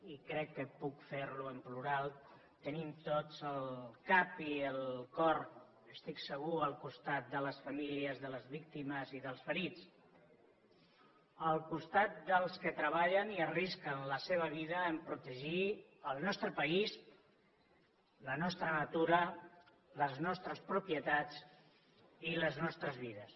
i crec que puc fer ho en plural tenim tots el cap i el cor estic segur al costat de les famílies de les víctimes i dels ferits al costat dels que treballen i arrisquen la seva vida a protegir el nostre país la nostra natura les nostres propietats i les nostres vides